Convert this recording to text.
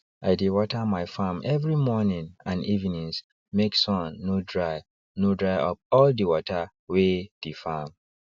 i dey water my farm every morning and evenings make sun no dry no dry up all the water wey the farm